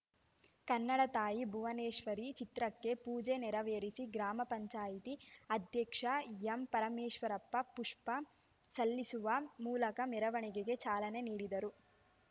ಕನ್ನಡ ತಾಯಿ ಭುವನೇಶ್ವರಿ ಚಿತ್ರಕ್ಕೆ ಪೂಜೆ ನೇರವೇರಿಸಿ ಗ್ರಾಮ ಪಂಚಾಯತಿ ಅಧ್ಯಕ್ಷ ಎಂಪರಮೇಶ್ವರಪ್ಪ ಪುಷ್ಪ ಸಲ್ಲಿಸುವ ಮೂಲಕ ಮೆರವಣಿಗೆಗೆ ಚಾಲನೆ ನೀಡಿದರು